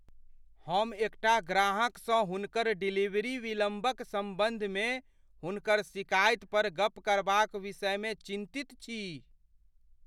हम एकटा ग्राहकसँ हुनकर डिलीवरीमे विलम्बक सम्बन्धमे हुनकर शिकायत पर गप करबाक विषयमे चिन्तित छी।